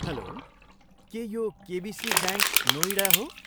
Hello, के यो KBC bank, Noida हो?